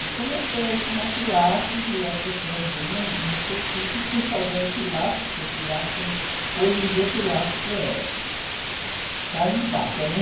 E comecei a ensinar Pilates e as pessoas vinham enlouquecidas, fazer o Pilates, porque o Pilates começou... Hoje em dia, Pilates é carne de vaca, né?